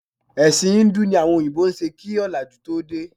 Ẹ̀sìn híńdù ni àwọn òyìnbó ń ṣe kí ọ̀làjú tó dé